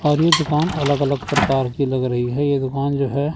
और ये दुकान अलग अलग प्रकार की लग रही है ये दुकान जो है।